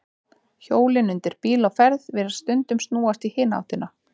Hjólin undir bíl á ferð virðast stundum snúast í hina áttina.